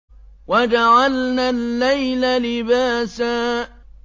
وَجَعَلْنَا اللَّيْلَ لِبَاسًا